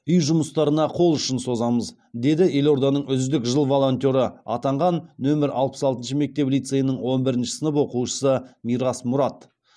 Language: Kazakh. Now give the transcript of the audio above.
үй жұмыстарына қол ұшын созамыз деді елорданың үздік жыл волонтеры атанған нөмір алпыс алтыншы мектеп лицейінің он бірінші сынып оқушысы мирас мұрат